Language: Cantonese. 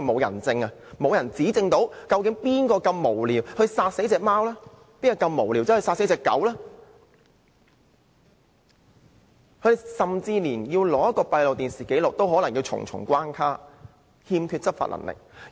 由於沒有人證可以指證殺害貓狗的無聊人，甚至連取用閉路電視紀錄也關卡重重，動物督察欠缺執法所需的權力。